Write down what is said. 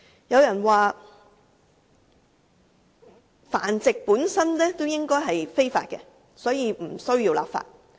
有人說繁殖本身便是非法，所以不需要立法。